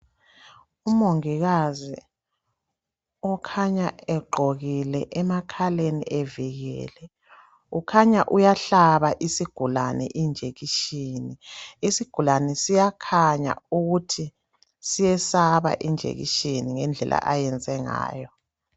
Umongikazi ukhanya egqokile emakhaleni evikele. Ukhanya uyahlaba isigulane ijekiseni, isigulane siyakhanya ukuthi siyesaba ijekiseni ngendlela ayenze ngayo.